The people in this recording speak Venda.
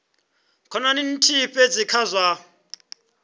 khonani nthihi fhedzi kha zwa